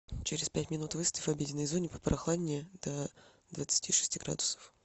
через пять минут выставь в обеденной зоне попрохладнее до двадцати шести градусов